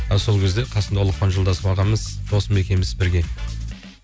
і сол кезде қасымда ұлықпан жолдасов ағамыз досым екеуіміз бірге